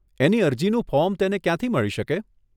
એની અરજીનું ફોર્મ તેને ક્યાંથી મળી શકે?